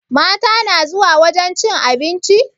Mata na zuwa wajen cin abinci?